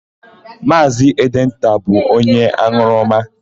Maazị Edenta bụ onye an̄ụrụma.